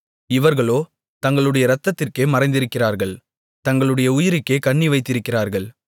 இவர்களோ தங்களுடைய இரத்தத்திற்கே மறைந்திருக்கிறார்கள் தங்களுடைய உயிருக்கே கண்ணிவைத்திருக்கிறார்கள்